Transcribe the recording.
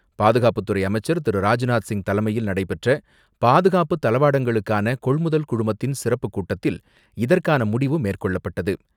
பாதுகாப்புத்துறை அமைச்சர் திரு ராஜ்நாத்சிங் தலைமையில் நடைபெற்ற பாதுகாப்பு தளவாடங்களுக்கான கொள்முதல் குழுமத்தின் சிறப்புக் கூட்டத்தில் இதற்கான முடிவு மேற்கொள்ளப்பட்டது.